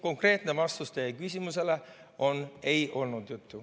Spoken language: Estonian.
Konkreetne vastus teie küsimusele on: ei olnud juttu.